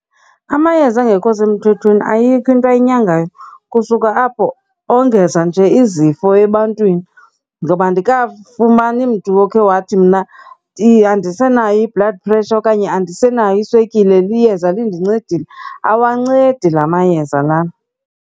Amayeza angekho semthethweni ayikho into ayinyangayo. Kusuke apho ongeza nje izifo ebantwini. Ngoba andikafuni mani mntu okhe wathi, mna andisenayo i-blood pressure okanye andisenayo iswekile liyeza lindincedile. Awancedi la mayeza lana.